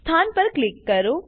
સ્થાન પર ક્લિક કરો